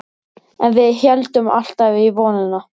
En við héldum alltaf í vonina.